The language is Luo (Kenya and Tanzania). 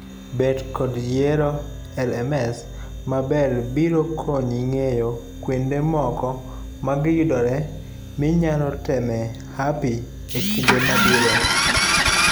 Bet kod yiero LMS maber biro konyi ng'eyo kuonde moko magiyudreye minyalo temee hapi ekinde mabiro.